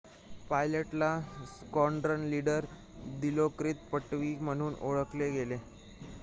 पायलटला squadron leader दिलोकृत पट्टवी म्हणून ओळखले गेले